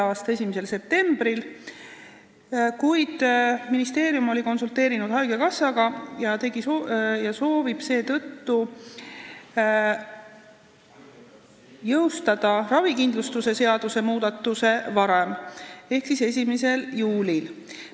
a 1. septembril, kuid ministeerium konsulteeris vahepeal haigekassaga ja soovib seetõttu ravikindlustuse seaduse muudatuse jõustada varem ehk 1. juulil.